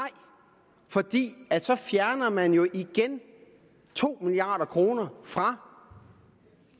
fordi så fjerner man jo igen to milliard kroner fra